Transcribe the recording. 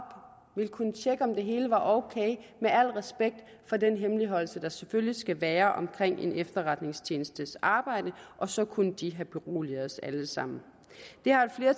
ville kunne tjekke om det hele var ok med al respekt for den hemmeligholdelse der selvfølgelig skal være om en efterretningstjenestes arbejde og så kunne de have beroliget os alle sammen